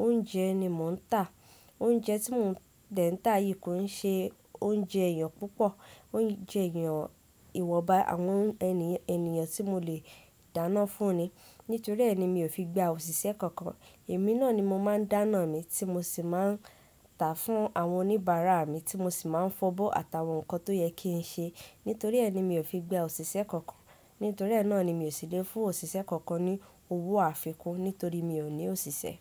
Oúnjẹ ni mò ń tà. Oúnjẹ tí mò ń tà yìí kò ń ṣe oúnjẹ èèyàn púpọ̀. Oúnjẹ èèyàn ìwọnba àwọn ènìyàn tí mo lè dáná fún ni. Nítorí ẹ́ ni mi ò fi gba àwọn òṣìṣẹ́ kankan. Èmi náà ni mo máa ń dáná mi tí mo sì máa ń tà fún àwọn oníbàárà mi tí mo sì máa ń fọ̀bọ́ àtàwọn nǹkan tó yẹ kí n ṣe. Nítorí ẹ́ ni mi ò fi gba òṣìṣẹ́ kankan. Nítorí ẹ́ náà ni mi ò sì le fún òṣìṣẹ́ kankan ní owó àfikún nítorí mi ò ní òṣìṣẹ́.